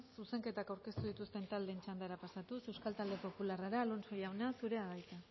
zuzenketak aurkeztu dituzten taldeen txandara pasatuz euskal talde popularrara alonso jauna zurea da hitza